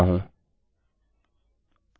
लेकिन यह यूज़र को नहीं दिखाया गया है जो समझ बना सकता था